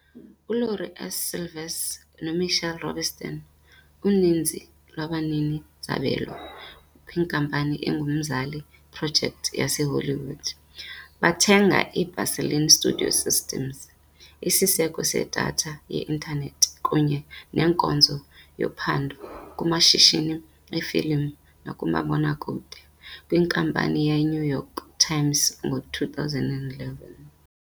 ULaurie S. Silvers noMitchell Rubenstein, uninzi lwabanini-zabelo kwinkampani engumzali iProjekthi yaseHollywood, bathenga iBaseline StudioSystems, isiseko sedatha ye-intanethi kunye nenkonzo yophando kumashishini efilimu nakumabonakude, kwiNkampani yeNew York Times ngo-2011.